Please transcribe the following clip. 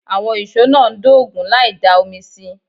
Àwọn ìşó náà ń dógun láì dá omi sí i